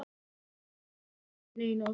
Man ekki eftir að hafa stungið neinu á sig.